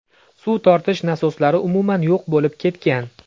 Suv tortish nasoslari umuman yo‘q bo‘lib ketgan.